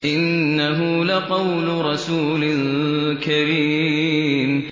إِنَّهُ لَقَوْلُ رَسُولٍ كَرِيمٍ